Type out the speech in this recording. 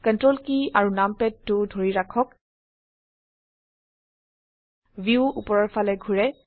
ctrl কী আৰু নামপাদ 2 ধৰি ৰাখক ভিউ উপৰৰ ফালে ঘোৰে